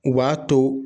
U b'a to